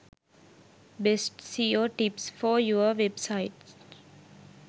best seo tips for your website